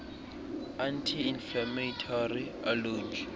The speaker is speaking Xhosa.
anti inflammatory alunge